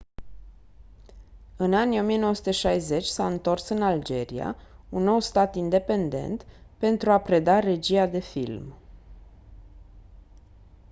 în anii 1960 s-a întors în algeria un nou stat independent pentru a preda regia de film